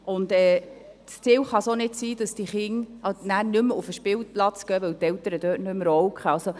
Es kann auch nicht das Ziel sein, dass diese Kinder nachher nicht mehr auf den Spielplatz gehen, weil die Eltern dort nicht mehr rauchen.